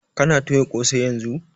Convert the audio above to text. Kana toya ƙosai yanzun?